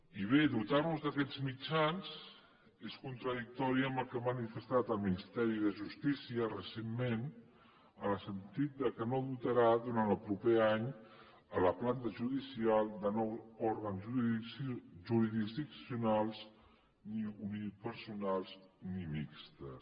i bé dotar nos d’aquests mitjans és contradictori amb el que ha manifestat el ministeri de justícia recentment en el sentit que no dotarà durant el proper any la planta judicial de nous òrgans jurisdiccionals ni unipersonals ni mixtos